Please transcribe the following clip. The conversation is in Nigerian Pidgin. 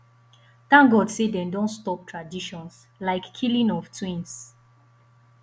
thank god say dey don stop traditions like killing of twins